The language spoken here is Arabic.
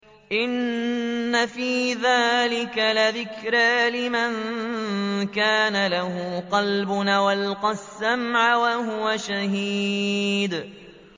إِنَّ فِي ذَٰلِكَ لَذِكْرَىٰ لِمَن كَانَ لَهُ قَلْبٌ أَوْ أَلْقَى السَّمْعَ وَهُوَ شَهِيدٌ